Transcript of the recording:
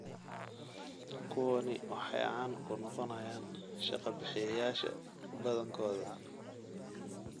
Kuwaani waxay caan ku noqonayaan shaqa-bixiyayaasha badankooda.